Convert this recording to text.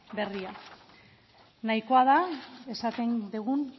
berria nahikoa da esaten dugun